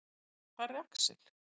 Hvar er Axel?